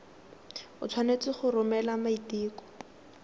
o tshwanetse go romela maiteko